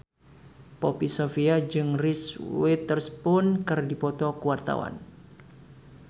Poppy Sovia jeung Reese Witherspoon keur dipoto ku wartawan